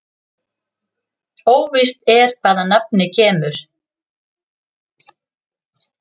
Óvíst er hvaðan nafnið kemur.